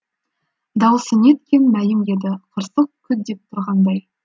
дауысы неткен мәйім еді қырсық күт деп тұрғандай